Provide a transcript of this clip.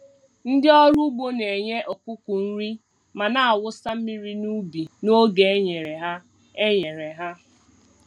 Ndị ọrụ ugbo na-enye ọkụkọ nri ma na-awụsa mmiri n’ubi n’oge e nyere ha. e nyere ha.